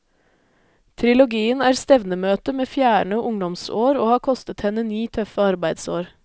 Trilogien er stevnemøte med fjerne ungdomsår og har kostet henne ni tøffe arbeidsår.